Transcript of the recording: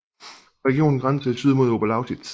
Regionen grænser i syd mod Oberlausitz